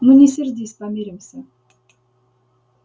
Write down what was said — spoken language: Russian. ну не сердись помиримся